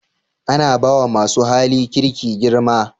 Ana ba wa masu hali kirki girma